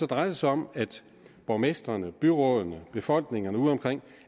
drejer det sig om at borgmestrene byrådene og befolkningerne ude omkring